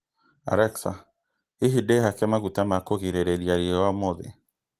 Alexa, hihi ndĩhaka maguta ma kũgirĩrĩria riũa ũmũthĩ?